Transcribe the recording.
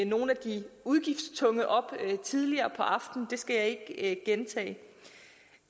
nogle af de udgiftstunge op tidligere på aftenen det skal jeg ikke gentage